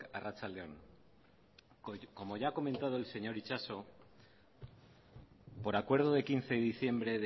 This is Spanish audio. arratsaldeon como ya ha comentado el señor itxaso por acuerdo de quince de diciembre